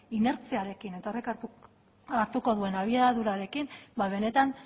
inertziarekin eta horrek hartuko duen abiadurarekin benetan